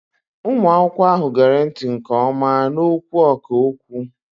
Ụmụ akwụkwọ ahụ gere ntị nke ọma n'okwu ọkà okwu.